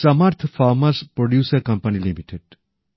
সমর্থ farmers producer company limited